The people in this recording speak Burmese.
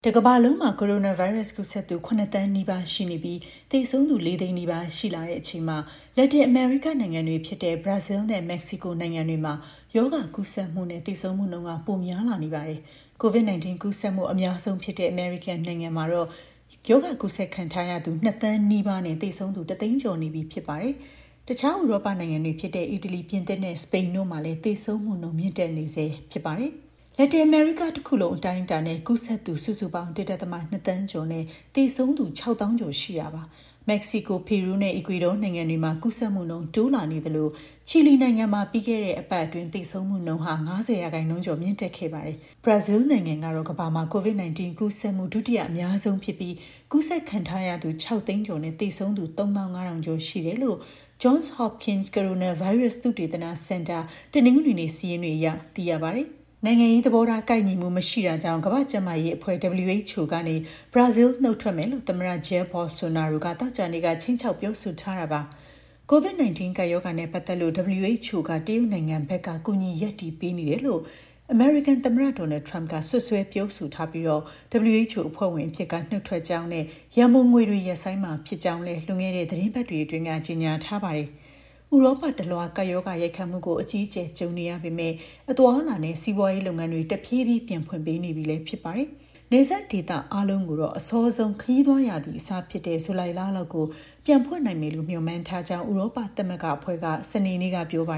တကမ္ဘာလုံးမှာ ကိုရိုနာဗိုင်းရပ်စ် ကူးစက်သူ ၇ သန်းနီးပါးရှိနေပြီး သေဆုံးသူ ၄ သိန်းနီးပါး ရှိလာတဲ့အချိန်မှာ လက်တင်အမေရိကနိုင်ငံတွေ ဖြစ်တဲ့ ဘရာဇီးနဲ့ မက္ကဆီကို နိုင်ငံတွေမှာ ရောဂါကူးစက်မှုနဲ့ သေဆုံးမှုနှုန်း ပိုများလာနေပါတယ်။ COVID-19 ကူးစက်မှု အများဆုံးဖြစ်တဲ့ အမေရိကန်နိုင်ငံမှာတော့ ကူးစက်ခံထားရသူ ၂ သန်းနီးပါးနဲ့ သေဆုံးသူ ၁ သိန်းကျော်နေပြီ ဖြစ်ပါတယ်။ တခြား ဥရောပနိုင်ငံတွေဖြစ်တဲ့ အီတလီ၊ ပြင်သစ်နဲ့ စပိန်တို့မှာလည်း သေဆုံးမှုနှုန်း မြင့်တက်နေဆဲ ဖြစ်ပါတယ်။ လက်တင်အမေရိကတခုလုံး အတိုင်းအတာနဲ့ ကူးစက်သူ စုစုပေါင်း ၁.၂ သန်းကျော်နဲ့ သေဆုံးသူ ၆၀,၀၀၀ ကျော်ရှိတာပါ။ မက္ကဆီကို၊ ပီရူးနဲ့ အီကွေဒေါနိုင်ငံတွေမှာ ကူးစက်မှုနှုန်း တိုးလာနေသလို ချီလီနိုင်ငံမှာ ပြီးခဲ့တဲ့ အပတ်အတွင်း သေဆုံးမှုနှုန်း ၅၀ ရာခိုင်နှုန်းကျော် မြင့်တက်ခဲ့ပါတယ်။ ဘရာဇီးနိုင်ငံက ကမ္ဘာမှာ COVID-19 ကူးစက်မှု ဒုတိယအများဆုံးဖြစ်ပြီး ကူးစက်ခံထားရသူ ၆ သိန်းကျော်နဲ့ သေဆုံးသူ ၃၅,၀၀၀ ကျော်ရှိတယ်လို့ Johns Hopkins ကိုရိုနာဗိုင်းရပ်စ် သုတေသနစင်တာ တနင်္ဂနွေနေ့ စာရင်းတွေအရ သိရပါတယ်။ နိုင်ငံရေးသဘောထား ကိုက်ညီမှု မရှိတာကြောင့် ကမ္ဘာ့ကျန်းမာရေးအဖွဲ့ (WHO) ကနေ ဘရာဇီး နုတ်ထွက်မယ်လို့ သမ္မတ Jair Bolsonaro က သောကြာနေ့က ခြိမ်းခြောက် ပြောဆိုထားတာပါ။ COVID-19 ကပ်ရောဂါနဲ့ ပတ်သက်လို့ WHO က တရုတ်နိုင်ငံဘက်က ကူညီရပ်တည်ပေးနေတယ်လို့ သမ္မတ Donald Trump ကလည်း စွပ်စွဲပြောဆိုထားပြီး WHO အဖွဲ့ဝင်အဖြစ်က နုတ်ထွက်ကြောင်းနဲ့ ရန်ပုံငွေတွေကို ရပ်ဆိုင်းမှာဖြစ်ကြောင်းလည်း လွန်ခဲ့တဲ့ သီတင်းပတ်တွေအတွင်းက ကြေညာထားပါတယ်။ ဥရောပတလွှား ကပ်ရောဂါရိုက်ခတ်မှုကို အကြီးအကျယ် ကြုံနေရပေမယ့် အသွားအလာနဲ့ စီးပွားရေးလုပ်ငန်းတွေ တဖြည်းဖြည်း ပြန်ဖွင့်ပေးနေပြီ ဖြစ်ပါတယ်။ တချို့နိုင်ငံတွေမှာ နယ်စပ်တွေ ပြန်ဖွင့်ပေးနေပေမယ့် နယ်စပ်ဒေသ အားလုံးကိုတော့ အစောဆုံး ခရီးသွားရာသီ အစဖြစ်တဲ့ ဇူလိုင်လလောက်ကို ပြန်ဖွင့်နိုင်မယ်လို့ မျှော်မှန်းထားကြောင်း ဥရောပသမဂ္ဂအဖွဲ့က စနေနေ့က ပြောပါ